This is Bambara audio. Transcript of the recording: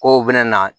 Kow bɛna na